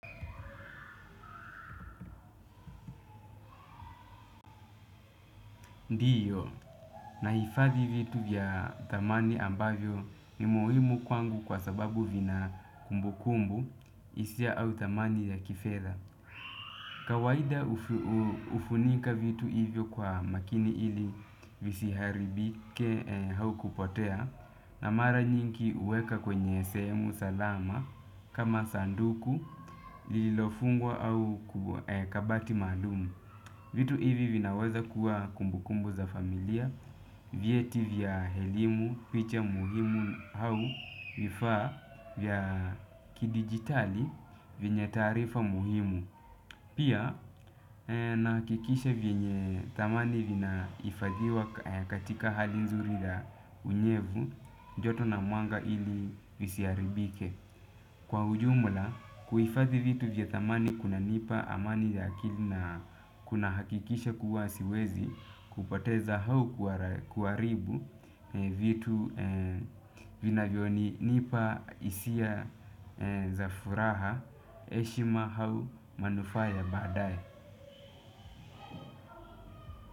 Ndiyo, nahifadhi vitu vya thamani ambavyo ni muhimu kwangu kwa sababu vina kumbukumbu hisia au thamani ya kifedha. Kawaida hufunika vitu hivyo kwa makini ili visiharibike au kupotea na mara nyingi huweka kwenye sehemu salama kama sanduku lililofungwa au kabati maalum. Vitu hivi vinaweza kuwa kumbukumbu za familia vyeti vya elimu, picha muhimu au vifaa vya kidigitali vyenye taarifa muhimu. Pia nahakisha venye thamani vinahifadhiwa katika hali nzuri la unyevu, joto na mwanga ili visiharibike. Kwa ujumla, kujifadhi vitu vya thamani kuna nipa amani ya akili na kuna hakikisha kuwa siwezi kupoteza au kuharibu vitu vinavyonipa hisia za furaha heshima au manufaa ya baadaye.